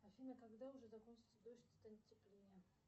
афина когда уже закончится дождь и станет теплее